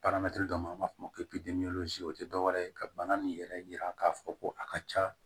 dɔ ma f'o o tɛ dɔwɛrɛ ye ka bana nin yɛrɛ yira k'a fɔ ko a ka ca